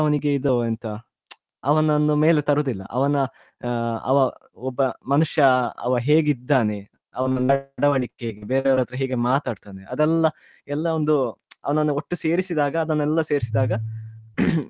ಅವನಿಗೆ ಇದು ಎಂತ ಅವನನ್ನು ಮೇಲೆ ತರುದಿಲ್ಲ ಅ~ ಅವನ ಅವಾ ಒಬ್ಬ ಮನುಷ್ಯ ಅವ ಹೇಗಿದ್ದಾನೆ ಅವನ ನಡವಳಿಕೆ ಬೇರೆಯವರ ಹತ್ರ ಹೇಗೆ ಮಾತಾಡ್ತಾನೇ ಅದೆಲ್ಲ ಎಲ್ಲ ಒಂದು ಒಟ್ಟು ಸೇರಿಸಿದಾಗ ಅದನ್ನೆಲ್ಲ ಸೇರಿಸಿದಾಗ .